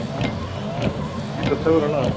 Veggirnir girða töfrana af.